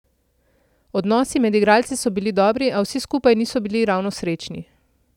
Odnosi med igralci so bili dobri, a vsi skupaj niso bili ravno srečni.